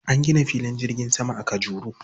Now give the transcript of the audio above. An gina filin jirgin sama a Kajuru.